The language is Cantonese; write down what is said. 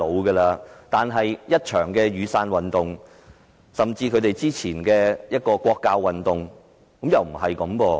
可是，雨傘運動甚至之前的國教運動卻顯示情況並不是這樣。